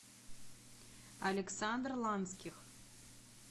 александр ланских